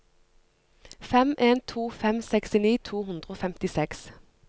fem en to fem sekstini to hundre og femtiseks